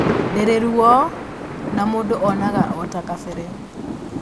Ndĩrĩ rũo na mũndũ oonaga ota kabere